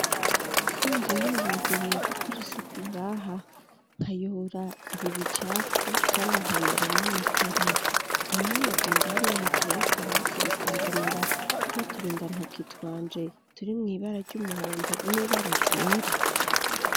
Ko nari niyumviriye gukurisa uku ngaha nkayora ibibicafu, kandi nkayora n'amakara aho nti wogenda ari ya hejere y'akabati bukanzanira twaturainda ntukitwanje turi mw'ibara ry'umuhondo n'ibararyera.